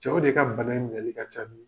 Cɛw de ka bana in minɛli ka ca ni